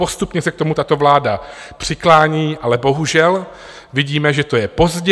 Postupně se k tomu tato vláda přiklání, ale bohužel vidíme, že to je pozdě.